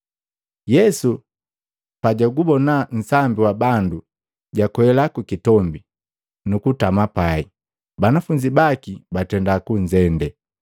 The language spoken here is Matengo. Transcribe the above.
Yesu pajugubona nsambi wa bandu, jakwela ku kitombi, nukutama pai. Banafunzi baki batenda kunzende,